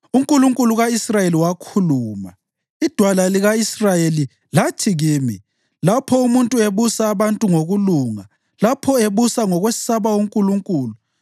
UNkulunkulu ka-Israyeli wakhuluma, iDwala lika-Israyeli lathi kimi: ‘Lapho umuntu ebusa abantu ngokulunga, lapho ebusa ngokwesaba uNkulunkulu,